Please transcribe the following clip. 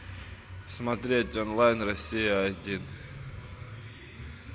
смотреть онлайн россия один